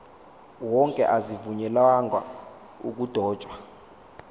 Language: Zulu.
wonke azivunyelwanga ukudotshwa